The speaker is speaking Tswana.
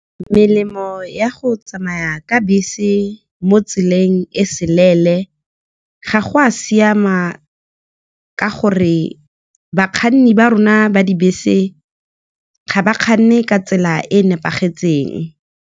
Melemo ya go tsamaya ka bese mo tseleng e telele, ga go a siama, ka gore bakganni ba rona ba dibese ga ba kganne ka tsela e e nepagetseng.